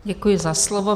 Děkuji za slovo.